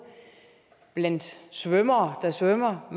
blandt svømmere der svømmer og